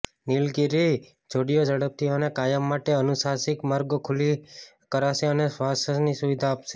નીલગિરી જોડીઓ ઝડપથી અને કાયમ માટે અનુનાસિક માર્ગો ખાલી કરશે અને શ્વાસની સુવિધા આપશે